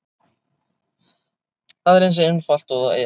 Það er eins einfalt og það er.